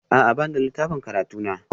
A'a, ba ni da littafin karatu na